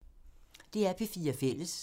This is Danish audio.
DR P4 Fælles